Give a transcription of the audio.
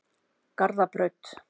Garðabraut